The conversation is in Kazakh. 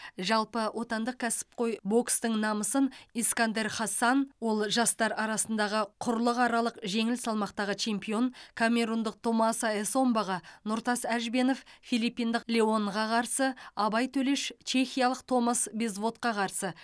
жалпы отандық кәсіпқой бокстың намысын искандер харсан ол жастар арасындағы құрлықаралық жеңіл салмақтағы чемпион камерундық томаса эссомбаға нұртас әжбенов филиппиндық леонға қарсы абай төлеш чехиялық томас безводқа қарсы